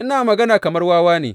Ina magana kamar wawa ne.